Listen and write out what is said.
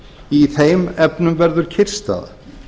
í þeim efnum verður kyrrstaða